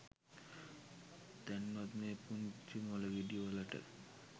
දැන්වත් මේ පුංචි මොලගෙඩි වලට